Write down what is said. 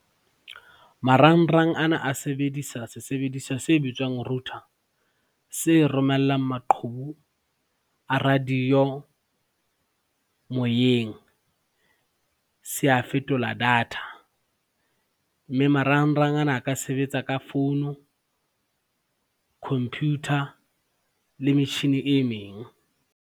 Marangrang ana a sebedisa sesebediswa se bitswang router. Se romellang maqhubu a radio, moyeng se a fetola data, mme marangrang ana a ka sebetsa ka founu, computer le metjhini e meng.